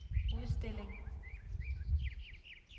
udstilling